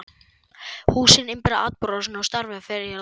Húsin innbyrða atburðarásina og stjarfi fer á hverfið.